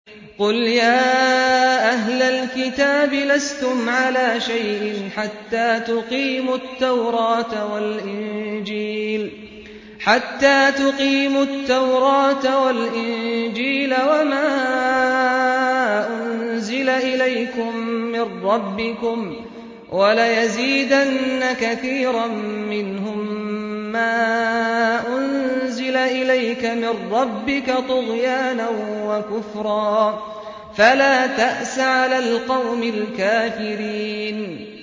قُلْ يَا أَهْلَ الْكِتَابِ لَسْتُمْ عَلَىٰ شَيْءٍ حَتَّىٰ تُقِيمُوا التَّوْرَاةَ وَالْإِنجِيلَ وَمَا أُنزِلَ إِلَيْكُم مِّن رَّبِّكُمْ ۗ وَلَيَزِيدَنَّ كَثِيرًا مِّنْهُم مَّا أُنزِلَ إِلَيْكَ مِن رَّبِّكَ طُغْيَانًا وَكُفْرًا ۖ فَلَا تَأْسَ عَلَى الْقَوْمِ الْكَافِرِينَ